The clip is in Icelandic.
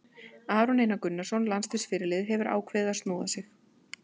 Aron Einar Gunnarsson, landsliðsfyrirliði, hefur ákveðið að snoða sig.